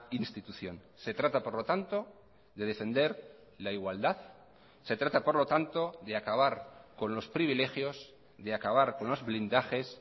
institución se trata por lo tanto de defender la igualdad se trata por lo tanto de acabar con los privilegios de acabar con los blindajes